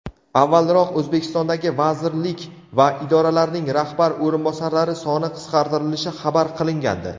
avvalroq O‘zbekistondagi vazirlik va idoralarning rahbar o‘rinbosarlari soni qisqartirilishi xabar qilingandi.